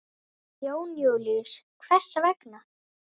Jón Júlíus: Hvers vegna?